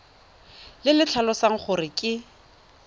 le le tlhalosang gore ke